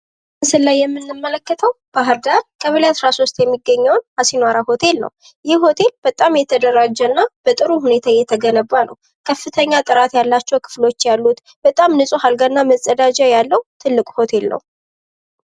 በምስሉ ላይ የምንመለከተው በባህርዳር ቀበሌ 13 የሚገኘውን አሲናራ ሆቴል ነው። ይህ ሆቴል በጣም የተደራጀ እና በጥሩ ሁኔታ የተገነባ ነው። ከፍተኛ ጥራት ያላቸው ክፍሎች ያሉት ንፁህ አልጋ እና መፀዳጃ ያለው ትልቅ ሆቴል ነው።